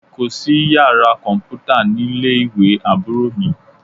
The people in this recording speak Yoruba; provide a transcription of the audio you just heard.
Kò sí yàrá kọ̀m̀pútá nílé ìwé Àbúrò mi